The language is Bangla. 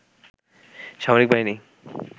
সামরিক বাহিনী